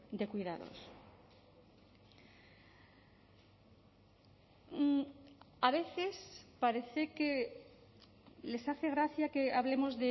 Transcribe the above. de cuidados a veces parece que les hace gracia que hablemos